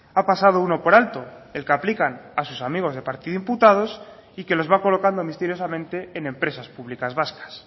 ha pasado uno por alto el que aplican a sus amigos de partido imputados y que los va colocando misteriosamente en empresas públicas vascas